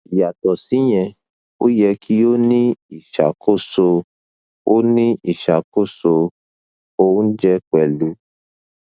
yàtọ síyẹn ó yẹ kí o ní ìṣàkóso o ní ìṣàkóso oúnjẹ pẹlú